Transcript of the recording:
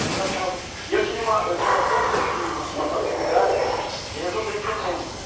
Eles achavam... E eu tinha uma, eu tinha sempre, assim, uma uma facilidade de resolver problema.